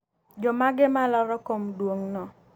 jomage malaro kom duong'no?